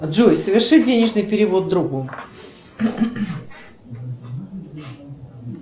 джой соверши денежный перевод другу